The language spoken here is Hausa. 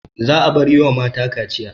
Za'a bar yiwa mata kaciya